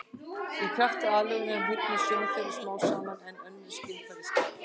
Í krafti aðlögunar hnignar sjón þeirra smám saman en önnur skynfæri skerpast.